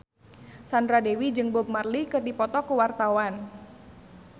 Sandra Dewi jeung Bob Marley keur dipoto ku wartawan